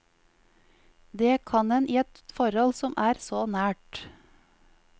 Det kan en i et forhold som er så nært.